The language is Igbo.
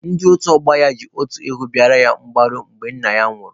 Ndị otu ọgbọ ya ji otu ewu bịara ya mgbaru mgbe nna ya nwụrụ